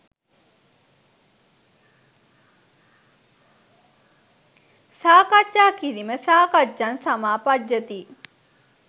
සාකච්ඡා කිරීම සාකච්ඡං සමාපජ්ජති